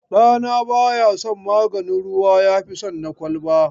Ɗana baya son maganin ruwa yafi son na ƙwaya.